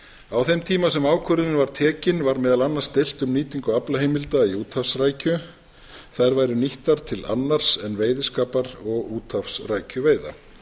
á þeim tíma sem ákvörðunin var tekin var meðal annars deilt um nýtingu aflaheimilda í úthafsrækju þær væru nýttar til annars en veiðiskapar og úthafsrækjuveiða